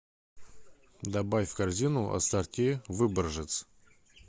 добавь в корзину ассорти выборжец